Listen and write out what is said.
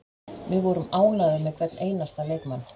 Við vorum ánægðir með hvern einasta leikmann.